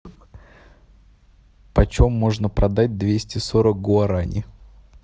почем можно продать двести сорок гуарани